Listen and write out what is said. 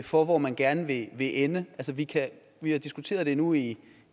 for hvor man gerne vil ende vi har diskuteret det nu i